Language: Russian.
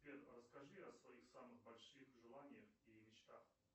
сбер расскажи о своих самых больших желаниях и мечтах